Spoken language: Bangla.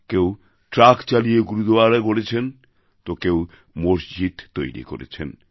কেউ ট্রাক চালিয়ে গুরুদোয়ারা গড়েছেন তো কেউ মসজিদ তৈরি করেছেন